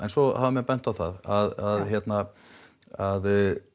svo hafa menn bent á það að að